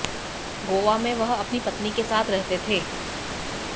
गोवा में वह अपनी पत्नी के साथ रहते थे